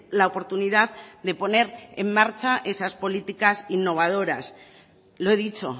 la oportunidad de poner en marcha esas políticas innovadoras lo he dicho